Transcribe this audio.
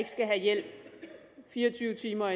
skal have hjælp fire og tyve timer